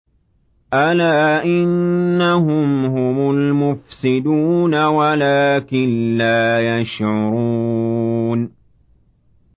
أَلَا إِنَّهُمْ هُمُ الْمُفْسِدُونَ وَلَٰكِن لَّا يَشْعُرُونَ